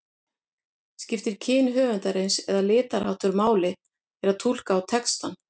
Skiptir kyn höfundarins eða litarháttur máli þegar túlka á textann?